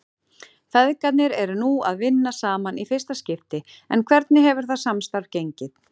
Feðgarnir eru nú að vinna saman í fyrsta skipti en hvernig hefur það samstarf gengið?